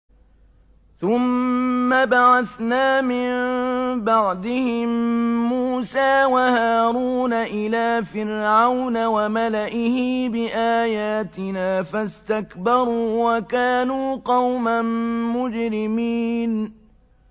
ثُمَّ بَعَثْنَا مِن بَعْدِهِم مُّوسَىٰ وَهَارُونَ إِلَىٰ فِرْعَوْنَ وَمَلَئِهِ بِآيَاتِنَا فَاسْتَكْبَرُوا وَكَانُوا قَوْمًا مُّجْرِمِينَ